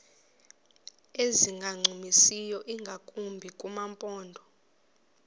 ezingancumisiyo ingakumbi kumaphondo